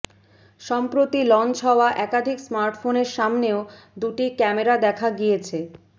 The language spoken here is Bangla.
সম্প্রতি লঞ্চ হওয়া একাধিক স্মার্টফোনের সামনেও দুটি ক্যামেরা দেখা গিয়েছ